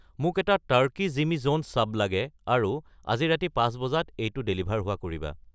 মোক এটা টাৰ্কি জিমী জন্ছ ছাব লাগে আৰু আজি ৰাতি পাঁচ বজাত এইটো ডেলিভাৰ হোৱা কৰিবা